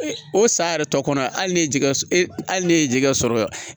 O san yɛrɛ tɔ kɔnɔ hali ne ye jɛgɛ hali ne ye jɛgɛ sɔrɔ